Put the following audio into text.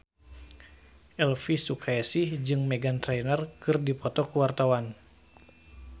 Elvi Sukaesih jeung Meghan Trainor keur dipoto ku wartawan